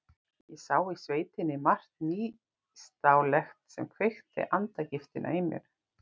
Ég sá í sveitinni margt nýstárlegt sem kveikti andagiftina í mér.